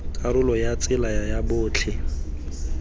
karolo ya tsela ya botlhe